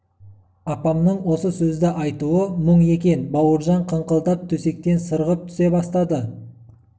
апамның осы сөзді айтуы мұң екен бауыржан қыңқылдап төсектен сырғып түсе бастады